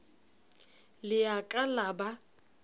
le a ka la ba